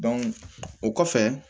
o kɔfɛ